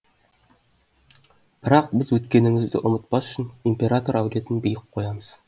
бірақ біз өткенімізді ұмытпас үшін император әулетін биік қоямыз